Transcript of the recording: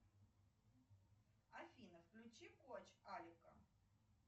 афина включи коч алика